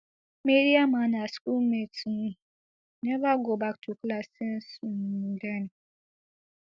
mariam and her school mates um never go back to class since um den